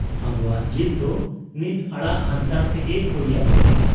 ᱟᱵᱚᱣᱟᱜ ᱡᱤᱫᱽ ᱫᱚ ᱱᱤᱛ ᱟᱲᱟᱜ ᱦᱟᱱᱛᱟᱲ ᱛᱮᱜᱮ ᱦᱩᱭ ᱟᱵᱚᱱᱟ ᱾